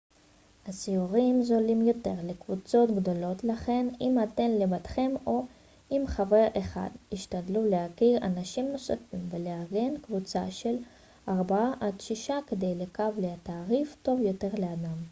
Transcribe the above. הסיורים זולים יותר לקבוצות גדולות לכן אם אתם לבדכם או עם חבר אחד השתדלו להכיר אנשים נוספים ולארגן קבוצה של ארבעה עד שישה כדי לקב לתעריף טוב יותר לאדם